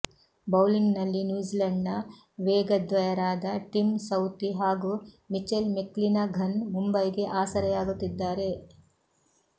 ಬೌಲಿಂಗ್ನಲ್ಲಿ ನ್ಯೂಝಿಲೆಂಡ್ನ ವೇಗಿದ್ವಯರಾದ Tim Southee ಹಾಗೂ ಮಿಚೆಲ್ ಮೆಕ್ಲಿನಘನ್ ಮುಂಬೈಗೆ ಆಸರೆಯಾಗುತ್ತಿದ್ದಾರೆ